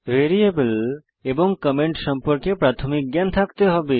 variable এবং comment সম্পর্কে প্রাথমিক জ্ঞান থাকতে হবে